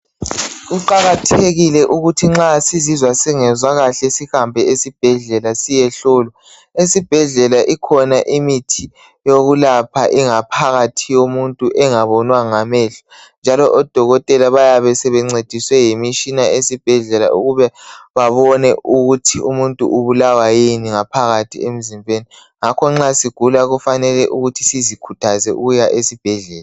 Kuqakathekile ukuthi nxa sizizwa singezwa kahle sihambe ezibhedlela siyehlolwa ,esibhedlela ikhona imithi yokulapha ingaphakathi yomuntu engabonwa ngamehlo njalo odokotela bayabe sebencediswe yimitshina esibhedlela ukube babone ukuthi umuntu ubulawa yini ngaphakathi emzimbeni, ngakho nxa sigula kufanele sizikhuthaze ukuya esibhedlela.